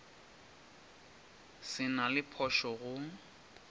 se na le phošo go